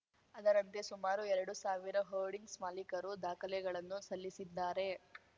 ಅದರಂತೆ ಸುಮಾರು ಎರಡು ಸಾವಿರ ಹೋರ್ಡಿಂಗ್ಸ್‌ ಮಾಲೀಕರು ದಾಖಲೆಗಳನ್ನು ಸಲ್ಲಿಸಿದ್ದಾರೆ